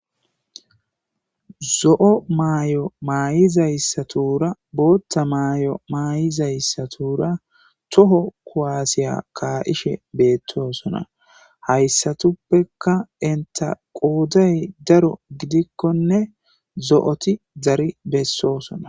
Zo'o maayo mayidasatura bootha mayo mayidaysatuura toho kuwase ka'ishe beetosona. Haysatuppeka enta qooday daro gidikoninne zo'oti dari bessosona.